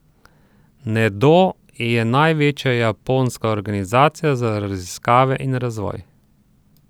Nedo je največja japonska organizacija za raziskave in razvoj.